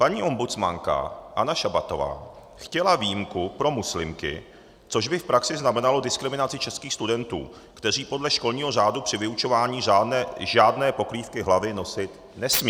Paní ombudsmanka Anna Šabatová chtěla výjimku pro muslimky, což by v praxi znamenalo diskriminaci českých studentů, kteří podle školního řádu při vyučování žádné pokrývky hlavy nosit nesmějí.